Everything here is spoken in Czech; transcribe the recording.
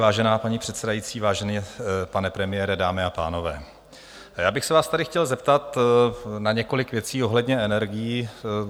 Vážená paní předsedající, vážený pane premiére, dámy a pánové, já bych se vás tady chtěl zeptat na několik věcí ohledně energií.